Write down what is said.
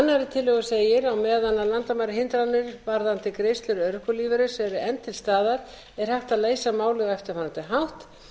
annarri tillögu segir á meðan landamærahindranir varðandi greiðslur örorkulífeyris eru enn til staðar er hægt að leysa málið á eftirfarandi hátt